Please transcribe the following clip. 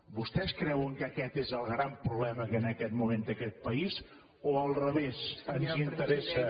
vostès creuen que aquest és el gran problema que en aquest moment té aquest país o al revés ens interessa